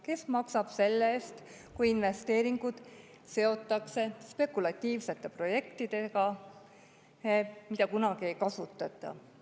Kes maksab selle eest, kui investeeringud seotakse spekulatiivsete projektidega, mida kunagi ei kasutata?